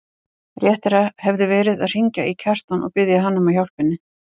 Réttara hefði verið að hringja í Kjartan og biðja hann að hjálpa henni.